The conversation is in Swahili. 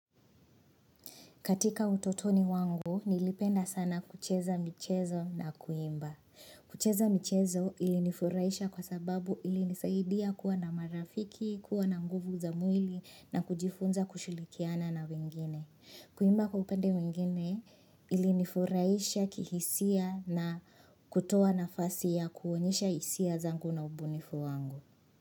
Katika utotoni wangu, nilipenda sana kucheza michezo na kuimba. Kucheza michezo ilinifurahisha kwa sababu ili nisaidia kuwa na marafiki, kuwa na nguvu za mwili na kujifunza kushilikiana na wengine. Kuimba kwa upende wengine ilinifurahisha kihisia na kutoa nafasi ya kuonyesha hisia zangu na ubunifu wangu.